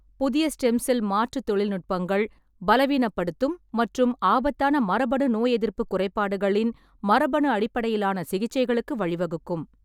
புதிய stem cell மாற்று தொழில்நுட்பங்கள் பலவீனப்படுத்தும் மற்றும் ஆபத்தான மரபணு நோயெதிர்ப்பு குறைபாடுகளின் மரபணு அடிப்படையிலான சிகிச்சைகளுக்கு வழிவகுக்கும்.